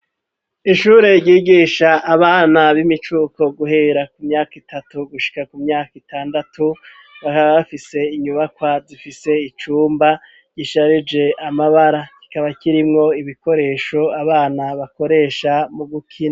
Ishuri ryigisha abana, b'imicuko guhera ku myaka itatu, gushika ku myaka itandatu ,bakaba bafise inyubakwa zifise icumba gisharije amabara, kikaba kirimwo ibikoresho abana bakoresha mu gukina.